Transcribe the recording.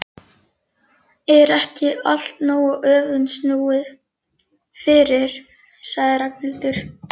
Er ekki allt nógu öfugsnúið fyrir? sagði Ragnhildur.